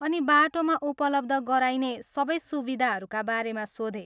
अनि बाटोमा उपलब्ध गराइने सबै सुविधाहरूका बारेमा सोधेँ।